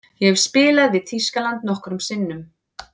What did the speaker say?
Ég hef spilað við Þýskaland nokkrum sinnum.